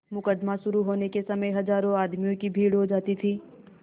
मुकदमा शुरु होने के समय हजारों आदमियों की भीड़ हो जाती थी